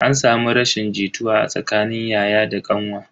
An samu rashin jituwa a tsakanin yaya da kanwa.